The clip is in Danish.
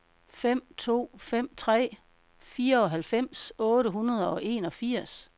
fem to fem tre fireoghalvfems otte hundrede og enogfirs